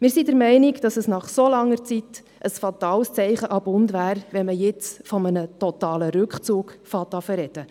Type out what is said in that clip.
Wir sind der Meinung, dass es nach so langer Zeit ein fatales Zeichen an den Bund wäre, wenn man jetzt von einem totalen Rückzug zu sprechen beginnt.